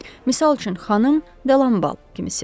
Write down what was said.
Misal üçün xanım Delambal kimisi.